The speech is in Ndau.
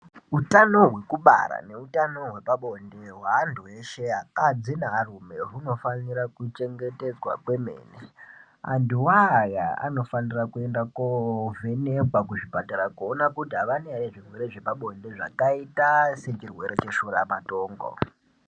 Utano hwekubara neutano hwepabonde hweantu eshe akadzi nearume hunofanira kuchengetedzwa kwemene, antuwo aya anofanira kuenda kovhenekwa kuzvipatara kuona kuti avana ere zvirwere zvepabonde zvakaita sechirwere cheshura matongo.